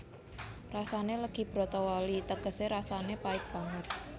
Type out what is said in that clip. Rasané legi bratawali tegesé rasané pait banget